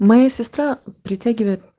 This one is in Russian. моя сестра присяги